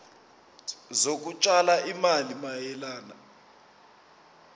zokutshala izimali mayelana